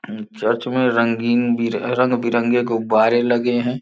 अम church में रंगीन भी रंग बिरंगे गुब्बारे लगे हैं।